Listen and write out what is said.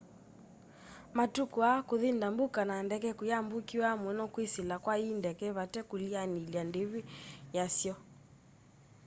matuku aa kũthi ndambũka na ndeke kũimbukiawa muno kwisila kwa i ndeke vate kulianilya ndivi yasyo